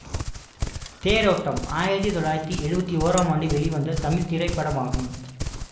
தேரோட்டம் ஆயிரத்தி தொள்ளாயிரத்தி எழுவத்தி ஓறாம் ஆம் ஆண்டு வெளிவந்த தமிழ் திரைப்படமாகும்